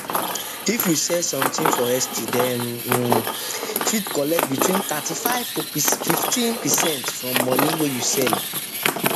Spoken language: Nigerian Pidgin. if you sell something for esty dem um fit collect between 35 to 15 from money wey you sell um